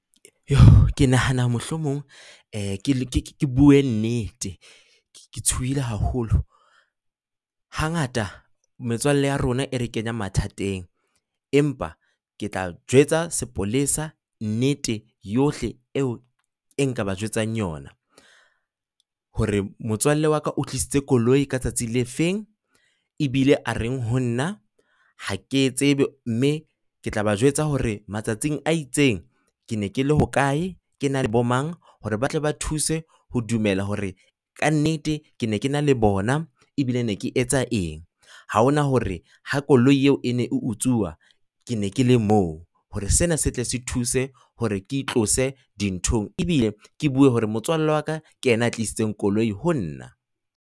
Ke nahana mohlomong ke ke bue nnete, ke tshohile haholo. Hangata metswalle ya rona e re kenya mathateng, empa ke tla jwetsa sepolesa nnete yohle eo nka ba jwetsang yona, hore motswalle wa ka o tlisitse koloi ka tsatsi le fe, ebile a reng ho nna, ha ke e tsebe, mme ke tla ba jwetsa hore matsatsing a itseng ke ne ke le hokae, ke na le bomang hore ba tle ba thuse ho dumela hore ka nnete ke ne ke na le bona ebile ne ke etsa eng. Ha hona hore ha koloi eo e ne e utsuwa ke ne ke le moo, hore sena se tle se thuse hore ke itlose dinthong, ebile ke bue hore motswalle wa ka ke yena ya tlisitseng koloi ho nna.